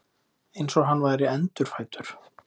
Eins og hann væri endurfæddur.